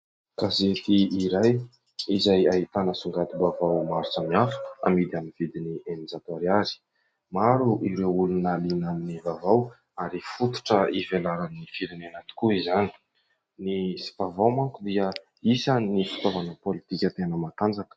Gazety iray izay ahitana songadim-baovao maro samihafa, amidy amin'ny vidiny eninjato ariary. Maro ireo olona liana amin'ny vaovao ary fototra ivelaran'ny firenena tokoa izany, ny vaovao manko dia isan'ny fitaovana politika tena matanjaka.